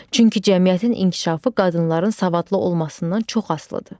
Çünki cəmiyyətin inkişafı qadınların savadlı olmasından çox asılıdır.